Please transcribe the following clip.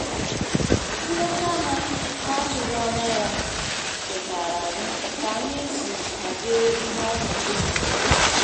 Nleta ha na atụghị anya ya chetaara anyị ka anyị si ahazi ihe n'ọnọdụ mgberede